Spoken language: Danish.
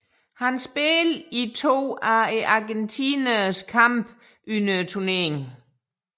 Han spillede i to af argentinernes kampe under turneringen